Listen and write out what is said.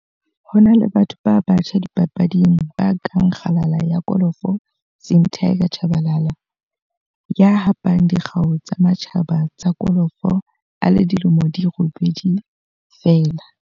Ho na le batho ba batjha dipapading ba kang kgalala ya kolofo Sim 'Tiger' Tshabalala, ya hapang dikgau tsa matjhaba tsa kolofo a le dilemo di robedi feela.